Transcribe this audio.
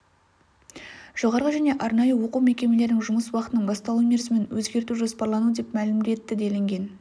жоғарғы және арнайы оқу мекемелерінің жұмыс уақытының басталу мерзімін өзгерту жоспарлануда деп мәлім етті делінген